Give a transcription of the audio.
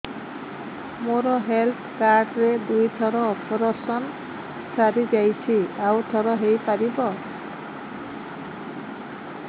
ମୋର health card ରେ ଦୁଇ ଥର ଅପେରସନ ସାରି ଯାଇଛି ଆଉ ଥର ହେଇପାରିବ